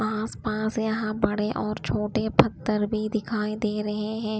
आस पास यहां बड़े और छोटे पत्थर भी दिखाई दे रहे हैं।